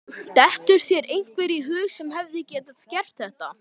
Dettur þér einhver í hug sem hefði getað gert þetta?